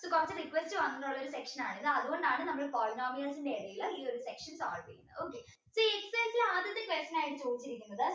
ഇത് കുറച്ച് difference വന്നിട്ടുള്ള ഒരു section ആണ് ഇത് അതുകൊണ്ടാണ് നമ്മള് polynomials ന്റെ ഇടയിൽ ഈ ഒരു section solve ചെയ്യുന്നത് okay see ആദ്യത്തെ question ആയിട്ട് ചോദിച്ചിരിക്കുന്നത്